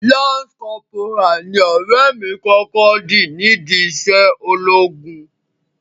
Lance corporal ni ọ̀rẹ́ mi kọ́kọ́ di nídi iṣẹ́ ológun.